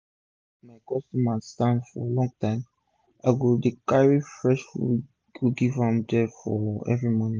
instead make my customer dey stand for long line i dey carry fresh food go give dem for dia everi morning